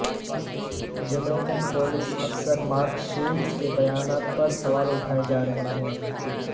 Jamaican police افسر Mark Shields کے بیانات پر سوال اٹھائے جارہے ہیں